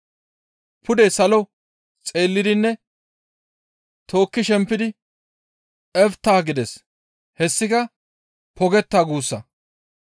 Pude salo xeellidinne tookki shempidi, «Efta» gides. Hessika, «Pogetta» guussa.